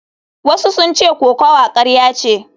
Wasu sun ce kokawa karya ce.